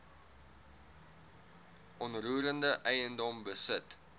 onroerende eiendom besit